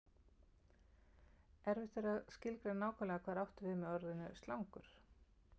Erfitt er að skilgreina nákvæmlega hvað átt er við með orðinu slangur.